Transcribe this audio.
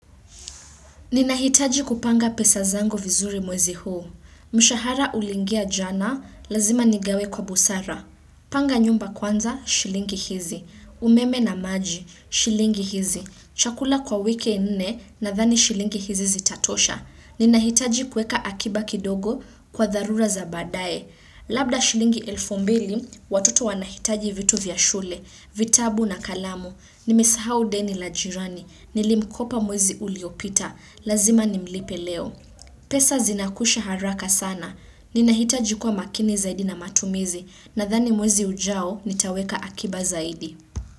Ninahitaji kupanga pesa zangu vizuri mwezi huu. Mshahara uliingia jana, lazima nigawe kwa busara. Panga nyumba kwanza, shilingi hizi. Umeme na maji, shilingi hizi. Chakula kwa wiki nne nathani shilingi hizi zitatosha. Ninahitaji kueka akiba kidogo kwa tharura za baadae. Labda shilingi elfu mbili, watoto wanahitaji vitu vya shule, vitabu na kalamu. Nimesahau deni la jirani, nilimkopa mwezi uliopita. Lazima nimlipe leo. Pesa zinakusha haraka sana. Ninahitaji kwa makini zaidi na matumizi. Nathani mwezi ujao nitaweka akiba zaidi.